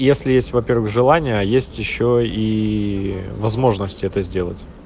и если есть во-первых желание а есть ещё и возможности это сделать